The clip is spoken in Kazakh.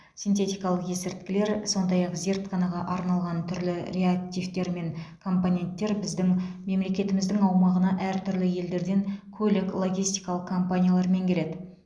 синтетикалық есірткілер сондай ақ зертханаға арналған түрлі реактивтер мен компоненттер біздің мемлекетіміздің аумағына әр түрлі елдерден көлік логистикалық компаниялармен келеді